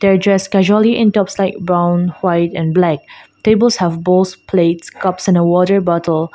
they dress casually in tops like brown white and black tables have bowls plates cups and a water bottle.